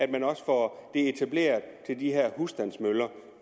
man også får det etableret til de her husstandsmøller